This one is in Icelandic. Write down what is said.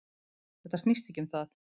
Þetta snýst ekki um það